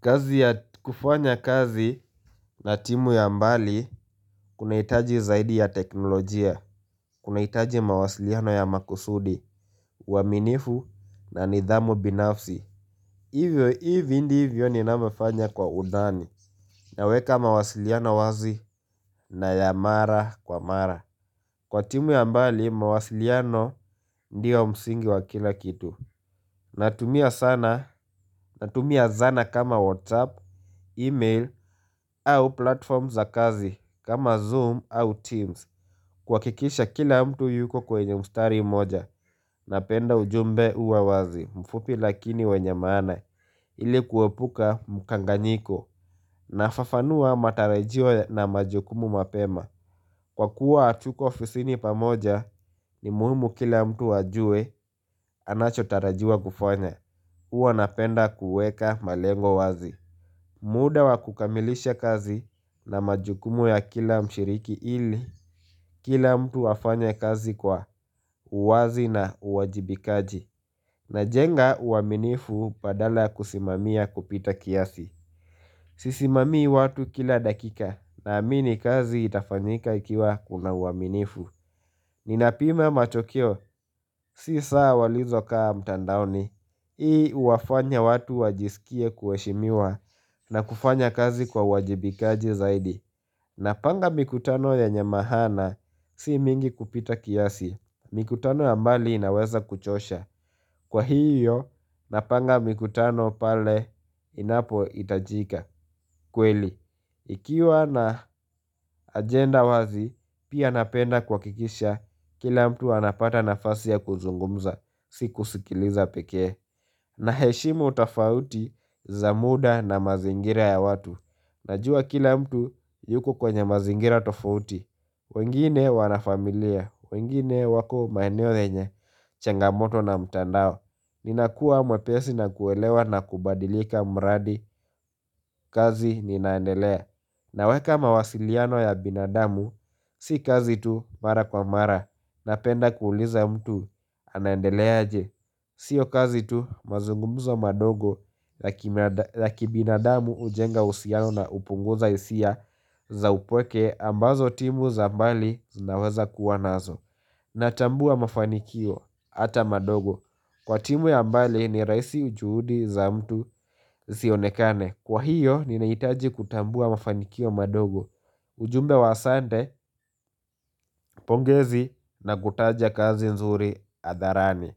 Kazi ya kufanya kazi na timu ya mbali kuna hitaji zaidi ya teknolojia Kuna hitaji mawasiliano ya makusudi, waaminifu na nidhamu binafsi Hivyo hivi ndivyo ninava fanya kwa udani naweka mawasiliano wazi na ya mara kwa mara Kwa timu ya mbali mawasiliano ndio msingi wa kila kitu Natumia sana, natumia zana kama WhatsApp, email, au platform za kazi, kama Zoom au Teams kuhakikisha kila mtu yuko kwenye mstari moja, napenda ujumbe uawazi, mfupi lakini wenye maana ili kuepuka mukanganyiko, nafafanua matarajio na majukumu mapema Kwa kuwa hatuko ofisini pamoja, ni muhimu kila mtu ajue, anacho tarajua kufanya huwa napenda kuweka malengo wazi muda wa kukamilisha kazi na majukumu ya kila mshiriki ili Kila mtu afanye kazi kwa uwazi na uwajibikaji Najenga uaminifu badala kusimamia kupita kiasi Sisimamii watu kila dakika na amini kazi itafanyika ikiwa kuna uaminifu Ninapima matokeo si saa walizo kaa mtandaoni Hii huwafanya watu wajisikie kuheshimiwa na kufanya kazi kwa uwajibikaji zaidi. Napanga mikutano ya nyamahana si mingi kupita kiasi. Mikutano ya mbali inaweza kuchosha. Kwa hiyo napanga mikutano pale inapo itajika kweli. Ikiwa na agenda wazi, pia napenda kuhakikisha kila mtu anapata nafasi ya kuzungumza, si kusikiliza pekee na heshimu tafauti za muda na mazingira ya watu Najua kila mtu yuko kwenye mazingira tofauti wengine wanafamilia, wengine wako maenio yenye, changamoto na mtandao Ninakua mwepesi na kuelewa na kubadilika mradi kazi ninaendelea naweka mawasiliano ya binadamu, si kazi tu mara kwa mara na penda kuuliza mtu anandeleaje Sio kazi tu mazungumuzo madogo la kibinadamu hujenga uhusiano na hupunguza isia za upweke ambazo timu za mbali zinaweza kuwa nazo na tambua mafanikio ata madogo, kwa timu ya mbali ni rahisi ujuhudi za mtu zionekane kwa hiyo, ninahitaji kutambua mafanikio madogo ujumbe wa asante, pongezi na kutaja kazi nzuri adharani,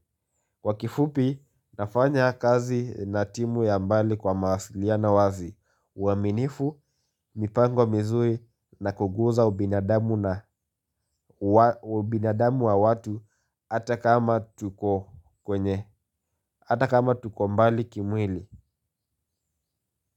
kwa kifupi, nafanya kazi na timu ya mbali kwa mawasiliano wazi, uaminifu, mipango mizuri na kuguza ubinadamu na uwa binadamu wa watu, ata kama tuko kwenye, ata kama tuko mbali kimwili.